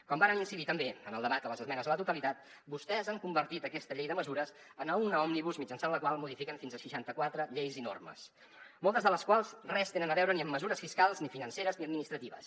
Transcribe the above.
com varen incidir també en el debat de les esmenes a la totalitat vostès han convertit aquesta llei de mesures en una òmnibus mitjançant la qual modifiquen fins a seixanta quatre lleis i normes moltes de les quals res tenen a veure ni amb mesures fiscals ni financeres ni administratives